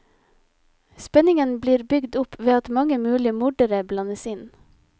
Spenningen blir bygd opp ved at mange mulige mordere blandes inn.